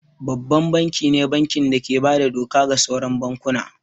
Babban banki ne banki da ke bada doka ga sauran bankuna